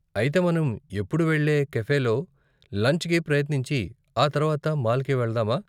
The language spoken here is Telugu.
అయితే మనం ఎప్పుడూ వెళ్ళే కఫేలో లంచ్కి ప్రయత్నించి, ఆ తర్వాత మాల్కి వెళదామా?